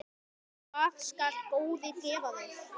Hvað skal góði gefa þér?